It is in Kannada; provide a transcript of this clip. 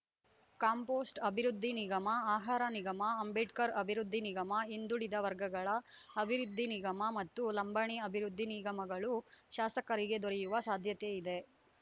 ಕಾಂಪೋಸ್ಟ್‌ ಅಭಿವೃದ್ಧಿ ನಿಗಮ ಆಹಾರ ನಿಗಮ ಅಂಬೇಡ್ಕರ್‌ ಅಭಿವೃದ್ಧಿ ನಿಗಮ ಹಿಂದುಳಿದ ವರ್ಗಗಳ ಅಬಿವೃದ್ಧಿ ನಿಗಮ ಮತ್ತು ಲಂಬಾಣಿ ಅಭಿವೃದ್ಧಿ ನಿಗಮಗಳು ಶಾಸಕರಿಗೆ ದೊರೆಯುವ ಸಾಧ್ಯತೆಯಿದೆ